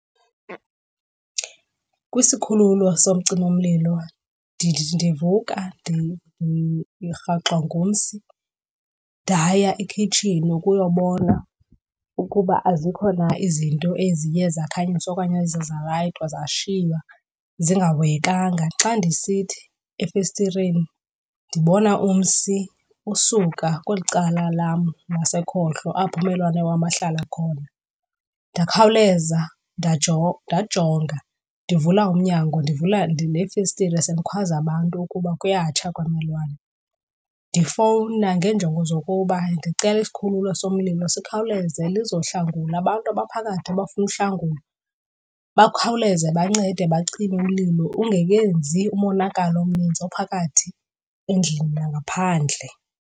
Kwisikhululo socima umlilo ndithi ndivuka ndirhaxwa ngumsi ndaya ekhitshini ukuyobona ukuba azikho na izinto eziye zakhanyiswa okanye eziye zalayitwa zashiywa zingahoyekanga. Xa ndisithi efestireni ndibona umsi usuka kweli cala lam ngasekhohlo, apho ummelwane wam ahlala khona. Ndakhawuleza ndajonga ndivula umnyango, ndivula neefestire ndikhwaze abantu ukuba kuyatsha kwammelwane. Ndifowuna ngenjongo zokuba ndicela isikhululo somlilo sikhawuleze lizohlangula abantu abaphakathi abafuna uhlangulo. Bakhawuleze bancede bacime umlilo ungekenzi umonakalo omninzi ophakathi endlini nangaphandle.